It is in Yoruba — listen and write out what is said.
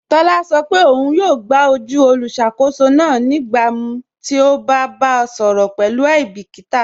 Tọla sọ pe ọ̀un yọọ gbà ojú olùṣakòsó náà nígbàmíí ti o bá bá a sọrọ pẹ̀lú aibikíta.